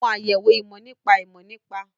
Àwọn àyẹ̀wò ìmọ̀ nípa ìmọ̀ nípa